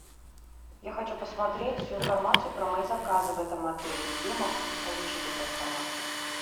я хочу посмотреть всю информацию про мои заказы в этом отеле где я могу получить эту информацию